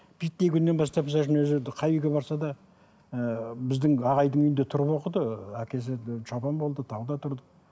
биттей күннен бастап өзі қай үйге барса да ыыы біздің ағайдың үйінде тұрып оқыды әкесі шопан болды тауда тұрды